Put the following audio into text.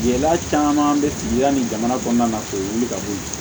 Gɛlɛya caman bɛ sigi yanni jamana kɔnɔna na k'o wuli ka bɔ yen